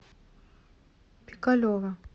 пикалево